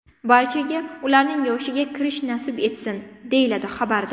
Barchaga ularning yoshiga kirish nasib etsin!”, deyiladi xabarda.